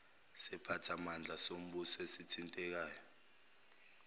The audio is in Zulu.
siphathimandla sombuso esithintekayo